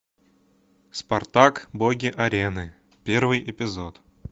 спартак боги арены первый эпизод